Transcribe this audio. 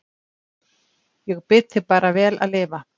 Ég bið þig bara vel að lifa